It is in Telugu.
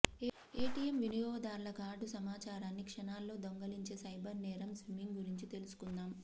ఏటీఎమ్ వినియోగదార్ల కార్డు సమాచారాన్నిక్షణాల్లో దొంగిలించే సైబర్ నేరం స్కిమ్మింగ్ గురించి తెలుసుకుందాం